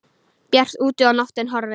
Bjart úti og nóttin horfin.